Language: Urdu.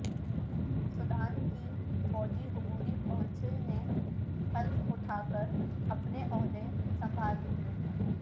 سوڈان کی فوجی عبوری کونسل نے حلف اٹھا کر اپنے عہدے سنبھال لئے